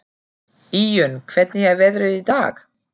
Íunn, hvernig er veðrið í dag?